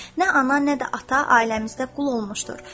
Nə ana, nə də ata ailəmizdə qul olmuşdur.